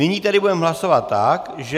Nyní tedy budeme hlasovat tak, že...